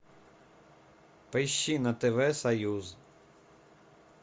поищи на тв союз